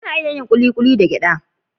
Ana iya yin kulikuli da gyada